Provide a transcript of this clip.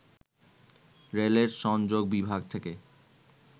রেলের জনসংযোগ বিভাগ থেকে